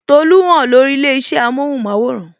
Tolu hàn lórí ilé isẹ amohun maworan